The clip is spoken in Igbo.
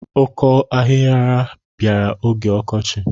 Ọkọ ahihiara bịara oge ọkọchị.